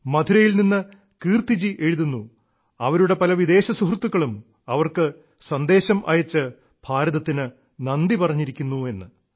മധുരയിൽ നിന്ന് കീർത്തിജി എഴുതുന്നു അവരുടെ പല വിദേശ സുഹൃത്തുക്കളും അവർക്ക് സന്ദേശം അയച്ച് ഭാരതത്തിന് നന്ദി പറഞ്ഞിരിക്കുന്നെന്ന്